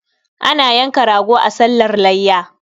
Ana yanka rago a sallar layya.